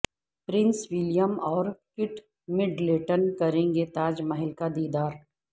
prince William اور Kate Middleton کریں گے تاج محل کا دیدار